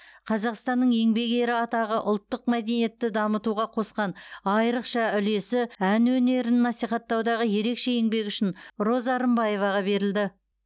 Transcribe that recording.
қазақстанның еңбек ері атағы ұлттық мәдениетті дамытуға қосқан айрықша үлесі ән өнерін насихаттаудағы ерекше еңбегі үшін роза рымбаеваға берілді